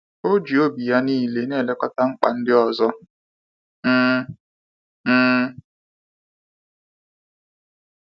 O ji obi ya niile na elekọta mkpa ndị ọzọ. um um